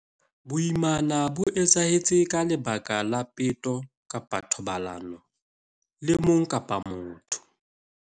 Boimana bo etsahetse ka lebaka la peto kapa thobalano le mong ka motho.